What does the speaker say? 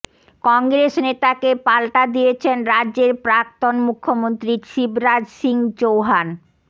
কংগ্রেস নেতাকে পাল্টা দিয়েছেন রাজ্যের প্রাক্তন মুখ্যমন্ত্রী শিবরাজ সিং চৌহান